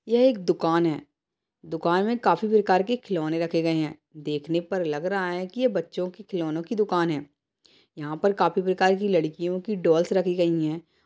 यह एक दुकान है दुकान में काफी प्रकार के खिलौने रखे गए हैं देखने पर लग रहा है कि ये बच्चों के खिलौनों की दुकान है। यहाँ पर काफी प्रकार की लड़कियों की डॉल्स रखी गई हैं।